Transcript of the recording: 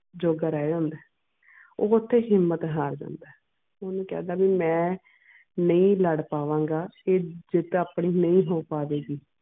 ਜੋਗਾ ਰਹਿ ਜਾਂਦਾ ਆ ਉਹ ਓਥੇ ਹਿੰਮਤ ਹਾਰ ਜਾਂਦਾ ਆ ਓਹਨੂੰ ਕਹਿੰਦਾ ਵੀ ਮਈ ਨਹੀਂ ਲੜ ਪਾਵਾਂਗਾ ਤੇ ਜਿੱਤ ਆਪਣੀ ਨਹੀਂ ਹੋ ਸਕਦੀ ਸੀ